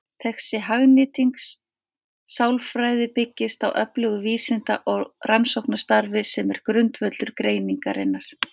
Þessi hagnýting sálfræði byggist á öflugu vísinda- og rannsóknarstarfi sem er grundvöllur greinarinnar.